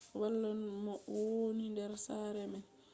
wala mo wooni der sare man